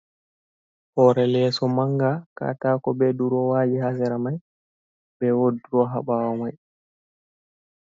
Hore leeso manga katako be durowaji hasera mai be wodroha bawo mai.